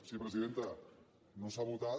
sí presidenta no s’ha votat